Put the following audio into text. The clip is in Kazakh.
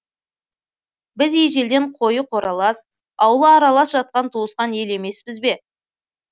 біз ежелден қойы қоралас ауылы аралас жатқан туысқан ел емеспіз бе